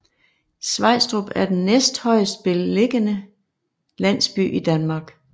Svejstrup er den næsthøjestbelligende landsby i Danmark